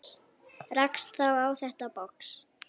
Rakst þá á þetta box.